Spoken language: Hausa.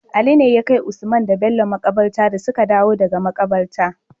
Ali ne yakai usman da Bello makabarta dasuka dawo daka makaranta